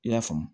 I y'a faamu